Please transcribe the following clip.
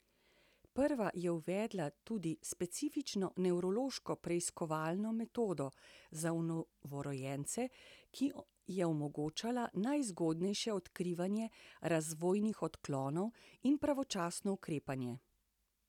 Prva je uvedla tudi specifično nevrološko preiskovalno metodo za novorojence, ki je omogočala najzgodnejše odkrivanje razvojnih odklonov in pravočasno ukrepanje.